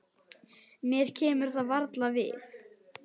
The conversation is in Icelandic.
Mér kemur það varla við.